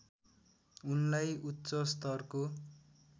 उनलाई उच्चस्तरको